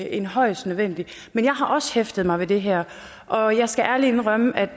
end højst nødvendigt men jeg har også hæftet mig ved det her og jeg skal ærligt indrømme